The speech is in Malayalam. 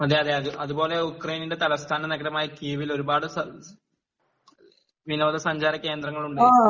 അതേ അതേ അത്പോലെ യുക്രൈൻ നിന്റെ തലസ്ഥാന നഗരമായ കീവിൽ ഒരുപാട് വിനോദ സഞ്ചാര കേന്ദ്രങ്ങളുണ്ട്